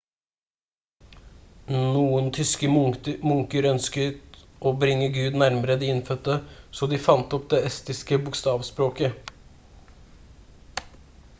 noen tyske munker ønsket å bringe gud nærmere de innfødte så de fant opp det estiske bokstavspråket